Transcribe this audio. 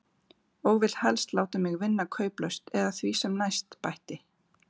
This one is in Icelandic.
Og vill helst láta mig vinna kauplaust eða því sem næst, bætti